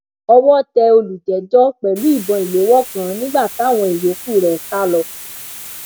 owó tẹ olùjẹjọ pẹlú ìbọn ìléwọ kan nígbà táwọn ìyòókù rẹ sá lọ